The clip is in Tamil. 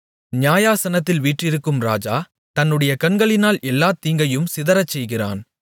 நியாயாசனத்தில் வீற்றிருக்கும் ராஜா தன்னுடைய கண்களினால் எல்லாத் தீங்கையும் சிதறச்செய்கிறான்